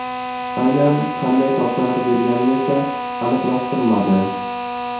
Aynan qanday topshiriq berganini esa aniqlashtirmadi.